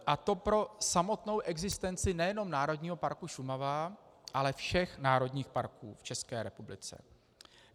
A to pro samotnou existenci nejenom Národního parku Šumava, ale všech národních parků v České republice.